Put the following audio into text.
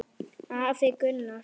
Afi Gunnar.